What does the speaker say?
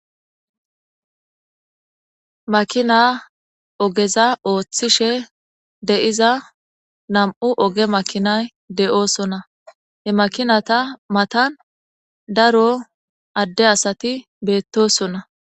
Makina ogeza ooththishe de'iza nam'u oge makinay de'oosonna he makinata matan daro adde asati beettosonna.